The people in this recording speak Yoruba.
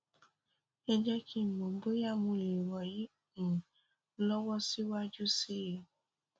ẹ jé kí n mọ bóyá mo lè ràn yín um lọwọ síwájú sí i i